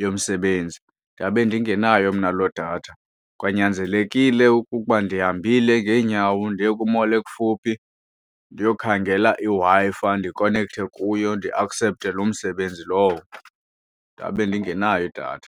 yomsebenzi ndabe ndingenayo mna loo datha. Kwanyanzelekile ukukuba ndihambile ngeenyawo ndiye ku-mall ekufuphi ndiyokhangela iWi-Fi fi ndikonekthe kuyo ndiaksepthe loo msebenzi lowo, ndabe ndingenayo idatha.